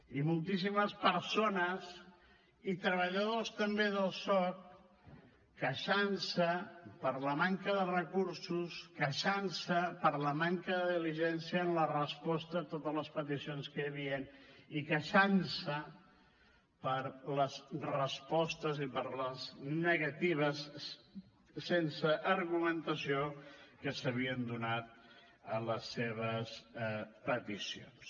i moltíssimes persones i treballadors també del soc que es queixaven de la manca de recursos es queixaven de la manca de diligència en la resposta a totes les peticions que hi havien i es queixaven de les respostes i de les negatives sense argumentació que s’havien donat a les seves peticions